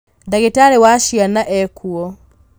ndagĩtarĩ wa ciana ekuo